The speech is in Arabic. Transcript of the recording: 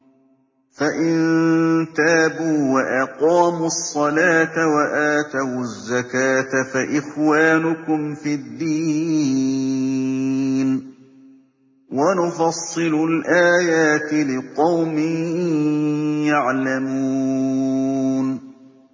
فَإِن تَابُوا وَأَقَامُوا الصَّلَاةَ وَآتَوُا الزَّكَاةَ فَإِخْوَانُكُمْ فِي الدِّينِ ۗ وَنُفَصِّلُ الْآيَاتِ لِقَوْمٍ يَعْلَمُونَ